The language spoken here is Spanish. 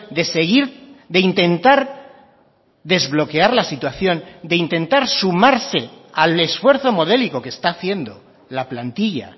de seguir de intentar desbloquear la situación de intentar sumarse al esfuerzo modélico que está haciendo la plantilla